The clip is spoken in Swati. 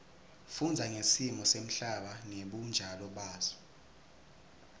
kufundza ngesimo semhlaba ngebunjalo baso